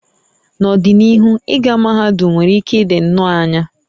N'ọdịnihu, ịga mahadum nwere ike ịdị nnọọ anya